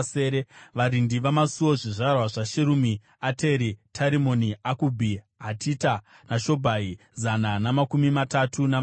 Varindi vamasuo: zvizvarwa zvaSherumi, Ateri, Tarimoni, Akubhi, Hatita, naShobhai, zana namakumi matatu navasere.